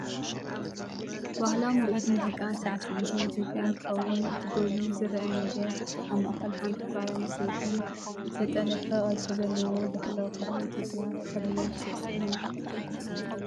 ባህላዊ ምርኢት ሙዚቃን ሳዕስዒትን ኢትዮጵያ እንትከውን፣ እቲ ጐሊሑ ዝረአ ነገር ኣብ ማእከል ሓንቲ ጓል ኣንስተይቲ፡ ዝተጠልፈ ቅርጺ ዘለዎ ባህላዊ ክዳን ኢትዮጵያ ተኸዲና ትስዕስዕ ኣላ።